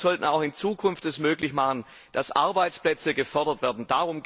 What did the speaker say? Und wir sollten es auch in Zukunft ermöglichen, dass Arbeitsplätze gefördert werden.